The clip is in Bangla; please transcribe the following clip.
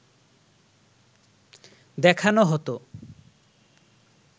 দেখানো হতো